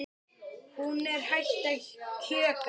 Hún er hætt að kjökra.